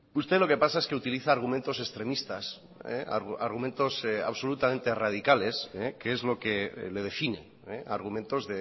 usted lo que pasa es que utiliza argumentos extremistas argumentos absolutamente radicales que es lo que le define argumentos